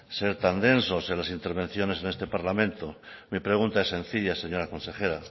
ser tan densos en las intervenciones en este parlamento me pregunta es sencilla señora consejera